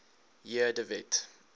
j de wet